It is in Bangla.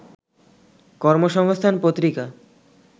কর্মসংস্থান পত্রিকা